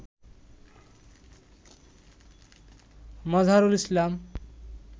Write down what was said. Mazharul Islam